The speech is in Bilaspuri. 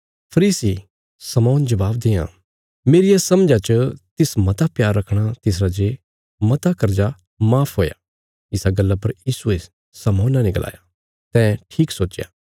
फरीसी शमौन जवाब देआं मेरिया समझा च तिस मता प्यार रखणा तिसरा जे मता कर्जा माफ हुया इसा गल्ला पर यीशुये शमौना ते गलाया तैं ठीक सोच्चया